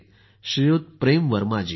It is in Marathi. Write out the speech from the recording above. श्री प्रेम वर्मा जी